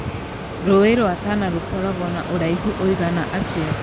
Rũũĩ rwa Tana rũkoragwo na ũraihu ũigana atĩa